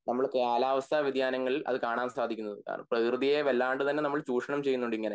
നമ്മള് കാലാവസ്ഥ വ്യാധ്യനങ്ങളിൽ അത് കാണാൻ സാധിക്കുന്നതാണ് പ്രകൃതിയെ വല്ലാണ്ട് തന്നെ ചുഷണം ചെയ്യുന്നുണ്ട് ഇങ്ങനെ